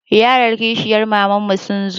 Yaran kishiyar mamanmu sun zo.